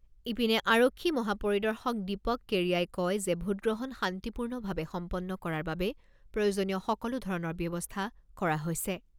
ইপিনে, আৰক্ষী মহা পৰিদৰ্শক দীপক কেড়িয়াই কয় যে ভোটগ্ৰহণ শান্তিপূৰ্ণভাৱে সম্পন্ন কৰাৰ বাবে প্ৰয়োজনীয় সকলো ধৰণৰ ব্যৱস্থা কৰা হৈছে।